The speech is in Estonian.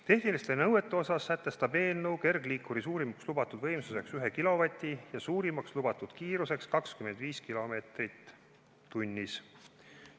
Tehnilistest nõuetest sätestab eelnõu kergliikuri suurimaks lubatud võimsuseks 1 kilovati ja suurimaks lubatud kiiruseks 25 kilomeetrit tunnis.